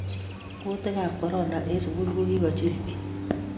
Kutikab korona eng' sukul ko kicholi pich